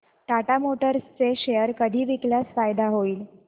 Tata Motors share शेअर कधी विकल्यास फायदा होईल